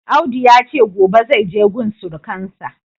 Audu yace gobe zaije gun surukansa.